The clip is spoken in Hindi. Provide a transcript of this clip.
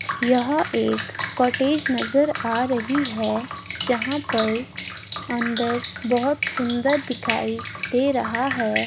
यह एक कॉटेज नजर आ रही है जहां पर अंदर बहोत सुंदर दिखाई दे रहा है।